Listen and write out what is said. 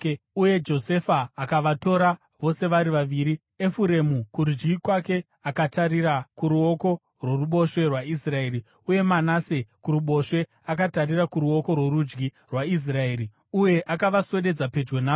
Uye Josefa akavatora vose vari vaviri, Efuremu kurudyi kwake akatarira kuruoko rworuboshwe rwaIsraeri, uye Manase kuruboshwe, akatarira kuruoko rworudyi rwaIsraeri, uye akavaswededza pedyo navo.